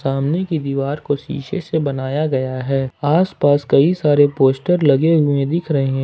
सामने की दीवार को शीशे से बनाया गया है आस पास कई सारे पोस्टर लगे हुए दिख रहे है।